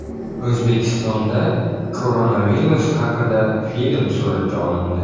O‘zbekistonda koronavirus haqida film suratga olindi .